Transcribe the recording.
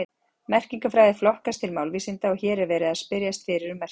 Merkingarfræði flokkast til málvísinda og hér er verið að spyrjast fyrir um merkingu.